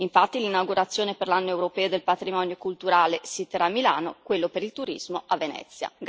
Infatti, l'inaugurazione dell'Anno europeo del patrimonio culturale si terrà a Milano e quella dell'Anno del turismo a Venezia.